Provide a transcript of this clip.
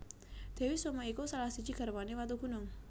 Dewi Soma iku salah siji garwane Watugunung